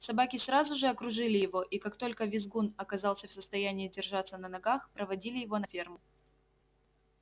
собаки сразу же окружили его и как только визгун оказался в состоянии держаться на ногах проводили его на ферму